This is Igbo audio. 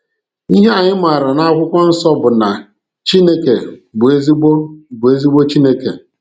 Ihe anyị maara n'Akwụkwọ Nsọ bụ na Chineke bụ ezigbo bụ ezigbo Chineke.